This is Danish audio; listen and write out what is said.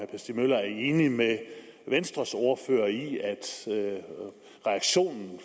stig møller er enig med venstres ordfører i at reaktionen